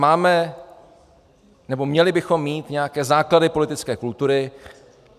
Máme, nebo měli bychom mít nějaké základy politické kultury.